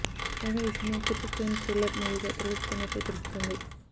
కాగా ఈ సినిమా పూర్తి క్రైమ్ థ్రిల్లర్ మూవీగా తెరకెక్కుతున్నట్లు తెలుస్తోంది